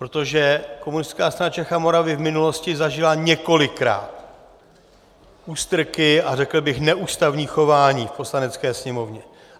Protože Komunistická strana Čech a Moravy v minulosti zažila několikrát ústrky a řekl bych neústavní chování v Poslanecké sněmovně.